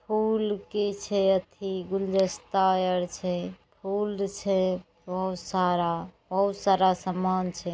फूल के छै अथी गुलजेस्ता आर छै। फूल छै बहुत सारा । बहुत सारा समान छै।